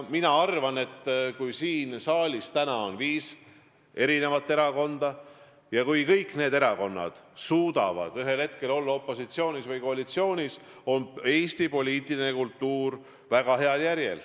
Mina arvan, et kui siin saalis on viis erakonda ja kui kõik need erakonnad suudavad ühel hetkel olla opositsioonis või koalitsioonis, siis on Eesti poliitiline kultuur väga heal järjel.